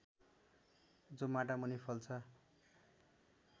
जो माटामुनि फल्छ